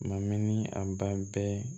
Mamuni a ban bɛ